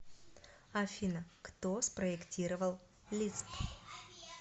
афина кто спроектировал лисп